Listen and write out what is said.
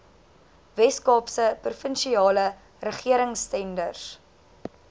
weskaapse provinsiale regeringstenders